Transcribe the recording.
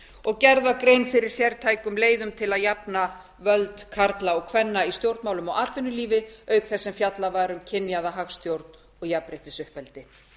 og gerð var grein fyrir sértækum leiðum til að til að jafna völd karla og kvenna í stjórnmálum og atvinnulífi auk þess sem fjallað var um kynjaða hagstjórn og jafnréttisuppeldi